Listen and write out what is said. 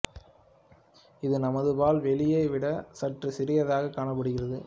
இது நமது பால் வெளியை விட சற்று சிறியதாக காணப்படுகிறது